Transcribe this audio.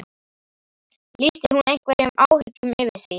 Lýsti hún einhverjum áhyggjum yfir því?